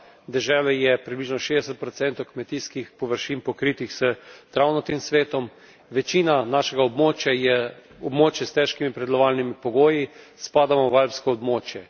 V deželi je približno 60 kmetijskih površin pokritih s travnatim svetom, večina našega območja je območje s težkimi pridelovalnimi pogoji, spadamo v alpsko območje.